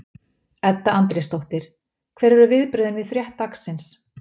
Edda Andrésdóttir: Hver eru viðbrögðin við frétt dagsins?